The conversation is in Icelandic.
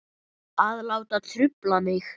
Að láta trufla mig.